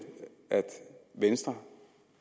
at venstre